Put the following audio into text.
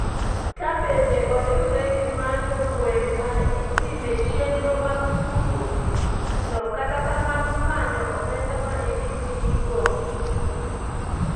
ka bende oriwre gi manyo gweng ma itime chenro mag tugo no kata kamano manyo omenda ma idhi tigo.